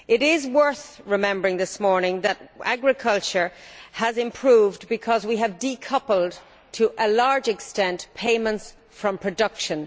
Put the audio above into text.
It is worth remembering this morning that agriculture has improved because we have decoupled, to a large extent, payments from production.